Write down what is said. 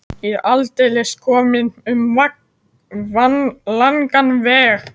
Ég er aldeilis kominn um langan veg.